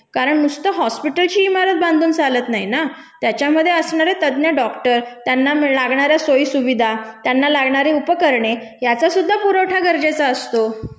कारण नुसतं हॉस्पिटलची इमारत बांधून चालत नाही ना त्याच्यामधे असणारे तज्ञ डॉक्टर, त्यांना लागणाऱ्या सोयी सुविधा, त्यांना लागणारी उपकरणे याचा सुद्धा पुरवठा गरजेचा असतो.